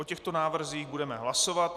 O těchto návrzích budeme hlasovat.